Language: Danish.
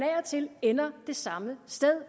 ender det samme sted